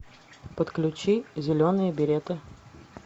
подключи зеленые береты